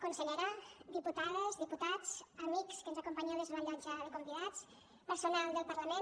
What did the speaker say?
consellera diputades diputats amics que ens acompanyeu des de la llotja de convidats personal del parlament